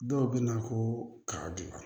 Dɔw bɛ na ko kaba dilan